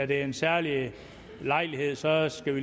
det er en særlig lejlighed så skal